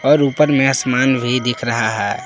और ऊपर में आसमान भी दिख रहा है।